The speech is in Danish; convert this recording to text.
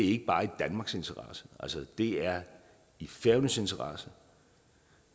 ikke bare i danmarks interesse det er i færøernes interesse